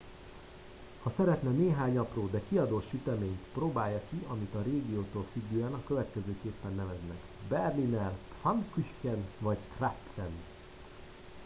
ha szeretne néhány apró de kiadós süteményt próbálja ki amit a régiótól függően a következőképpen neveznek berliner pfannkuchen vagy krapfen